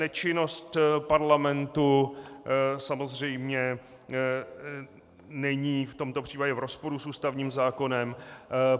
Nečinnost parlamentu samozřejmě není v tomto případě v rozporu s ústavním zákonem.